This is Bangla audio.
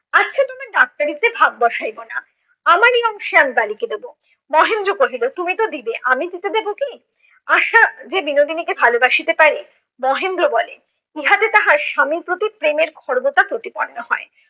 তোমার ডাক্তারিতে ভাগ বসাইব না। আমারি অংশে আমি বালিকে দেব। মহেন্দ্র কহিল তুমি ত দিবে, আমি দিতে দেব কি? আশা যে বিনোদিনীকে ভালোবাসিতে পারে- মহেন্দ্র বলে ইহাতে তাহার স্বামীর প্রতি প্রেমের খর্বতা প্রতিপন্ন হয়।